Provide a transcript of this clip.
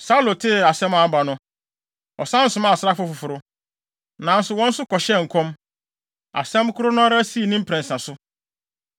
Saulo tee asɛm a aba no, ɔsan somaa asraafo foforo, nanso wɔn nso kɔhyɛɛ nkɔm! Asɛm koro no ara sii ne mprɛnsa so.